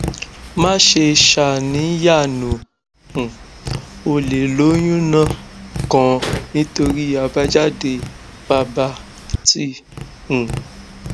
má ṣe ṣàníyàno um ò lè lóyúnó kàn nítorí àbájáde bàbà t um